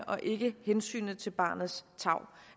og ikke hensynet til barnets tarv